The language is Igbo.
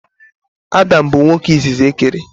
Adam bụ nwoke izizi e kere.